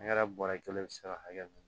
bɔrɛ kelen be se ka hakɛ mun